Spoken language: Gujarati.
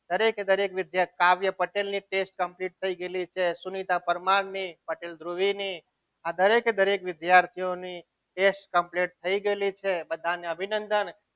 દરેકે દરેક વિદ્યાર્થી કાવ્ય પટેલની test complete થઈ ગયેલી છે સુનિતા પરમાર ની પટેલ ધ્રુવી ની આ દરેકે દરેક વિદ્યાર્થીઓને test complete થઈ ગયેલી છે બધાને અભિનંદન.